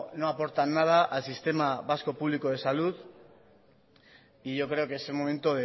no aportan nada al sistema vasco público de salud y yo creo que es el momento